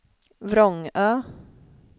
Vrångö